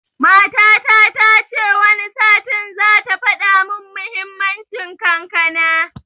Matana tace Wani satin zata faɗa mun muhimmanci kankana